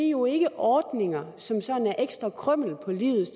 jo ikke ordninger som sådan er ekstra krymmel på livet